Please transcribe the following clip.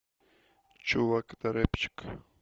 чувак это рэпчик